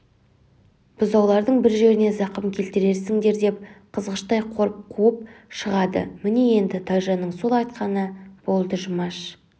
бұзаулардың бір жеріне зақым келтіресіңдердеп қызғыштай қорып қуып шығады міне енді тайжанның сол айтқаны болды жұмаш